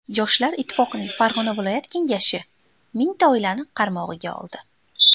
Yoshlar ittifoqining Farg‘ona viloyat kengashi mingta oilani qaramog‘iga oldi.